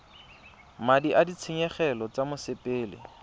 madi a ditshenyegelo tsa mosepele